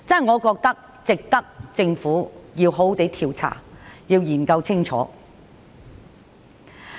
我覺得值得政府好好調查和研究清楚。